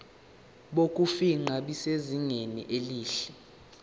bokufingqa busezingeni elihle